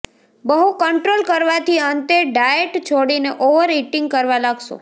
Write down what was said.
બહુ કંટ્રોલ કરવાથી અંતે ડાયેટ છોડીને ઓવર ઈટિંગ કરવા લાગશો